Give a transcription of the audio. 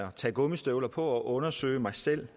og tager gummistøvler på og undersøger mig selv